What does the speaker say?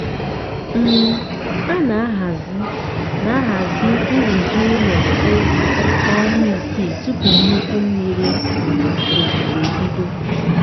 um a na-ahazi na-ahazi nrụzi ụlọ ehi na ọnwa isii tupu nnukwu mmiri um ozuzo ebido.